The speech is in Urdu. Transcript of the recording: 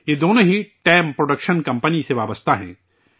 یہ دونوں ہی ٹیم پروڈکشن کمپنی سے جڑے ہیں